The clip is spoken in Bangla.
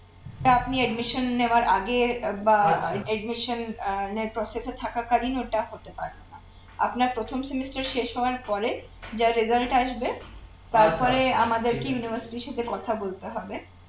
ওটা আপানি admission নেওয়ার আগে বা admission এ process এ থাকাকালীন ওটা হতে পারে না আপনার প্রথম semester শেষ হওয়ার পরে যা result আসবে তারপরে আমাদেরকে university এর সাথে কথা বলতে হবে